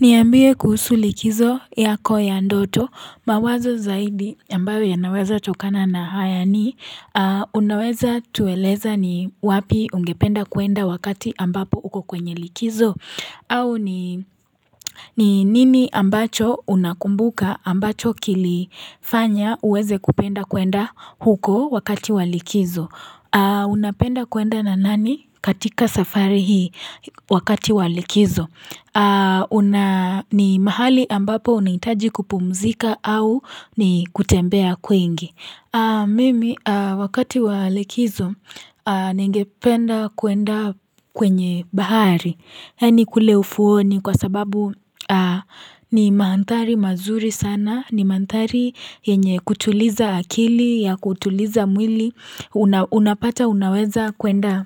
Niambie kuhusu likizo yako ya ndoto mawazo zaidi ambayo yanaweza tokana na hayani Unaweza tuweleza ni wapi ungependa kuenda wakati ambapo huko kwenye likizo au ni nini ambacho unakumbuka ambacho kilifanya uweze kupenda kuenda huko wakati walikizo Unapenda kuenda na nani katika safari hii wakati walikizo ni mahali ambapo unaitaji kupumzika au ni kutembea kwingi. Mimi wakati walekizo nengependa kuenda kwenye bahari. Yani kule ufuoni kwa sababu ni maantari mazuri sana, ni maantari yenye kutuliza akili, ya kutuliza mwili, unapata unaweza kuenda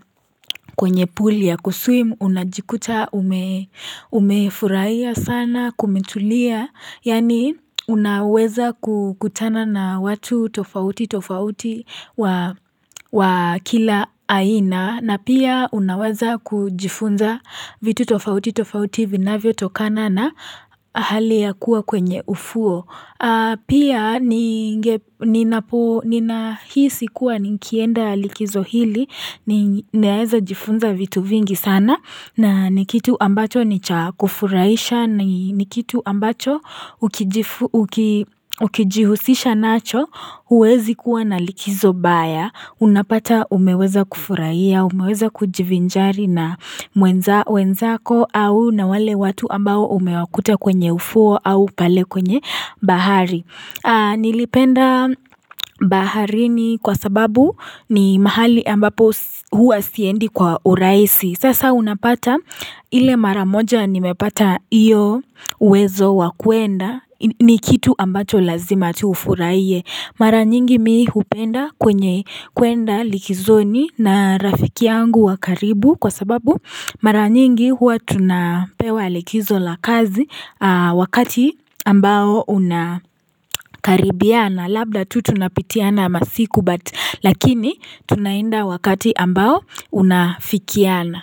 kwenye puli ya kuswim, unajikuta, umefuraiya sana, kumitulia. Yani unaweza kutana na watu tofauti tofauti wa kila aina na pia unaweza kujifunza vitu tofauti tofauti vinavyo tokana na hali ya kuwa kwenye ufuo. Pia nina hii sikuwa nikienda likizo hili Niaeza jifunza vitu vingi sana na nikitu ambacho nicha kufuraisha Nikitu ambacho ukijihusisha nacho huwezi kuwa na likizo baya unapata umeweza kufuraia umeweza kujivinjari na mwenza wenzako au na wale watu ambao umewakuta kwenye ufuo au pale kwenye bahari Nilipenda bahari ni kwa sababu ni mahali ambapo huwa siendi kwa urahisi Sasa unapata ile mara moja nimepata iyo uwezo wa kuenda ni kitu ambacho lazima tufuraiye Mara nyingi mimi hupenda kwenye kuenda likizoni na rafiki yangu wakaribu Kwa sababu mara nyingi huwa tunapewa alikizo la kazi wakati ambao unakaribiana Labda tu tunapitiana masiku but lakini tunainda wakati ambao unafikiana.